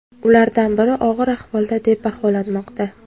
Ulardan biri og‘ir ahvolda deb baholanmoqda.